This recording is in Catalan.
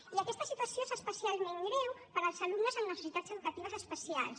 i aquesta situació és especialment greu per als alumnes amb necessitats educatives especials